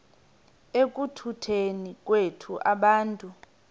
ekutuneni kwethu abantu